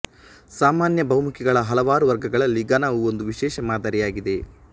ಸಾಮಾನ್ಯ ಬಹುಮುಖಿಗಳ ಹಲವಾರು ವರ್ಗಗಳಲ್ಲಿ ಘನವು ಒಂದು ವಿಶೇಷ ಮಾದರಿಯಾಗಿದೆ